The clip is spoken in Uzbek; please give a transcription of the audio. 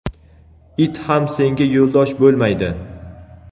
it ham senga yo‘ldosh bo‘lmaydi!.